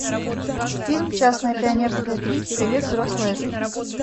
фильм частное пионерское три привет взрослая жизнь